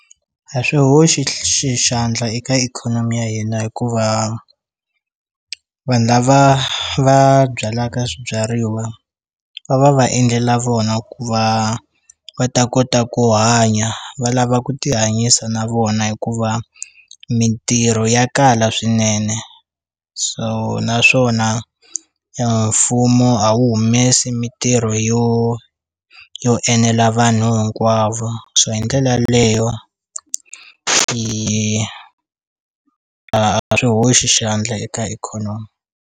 A swi hoxi xi xandla eka ikhonomi ya hina hikuva vanhu lava va byalaka swibyariwa va va va endlela vona ku va va ta kota ku hanya va lava ku ti hanyisa na vona hikuva mintirho ya kala swinene so naswona mfumo a wu humesi mintirho yo yo enela vanhu hinkwavo so hi ndlela leyo yi a a swi hoxa xandla eka ikhonomi.